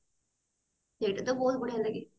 ସେଇଟା ଟା ବହୁତ ଭଲ ଲାଗେ